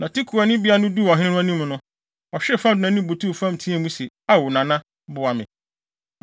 Na Tekoani bea no duu ɔhene no anim no, ɔhwee fam de nʼanim butuw fam teɛɛ mu se, “Ao Nana! Boa me!”